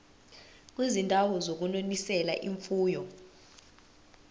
kwizindawo zokunonisela imfuyo